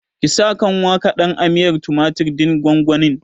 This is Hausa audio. Ki sa kanwa kaɗan a miyar tumatir ɗin gwangwanin!